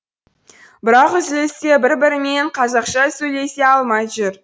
бірақ үзілісте бір бірімен қазақша сөйлесе алмай жүр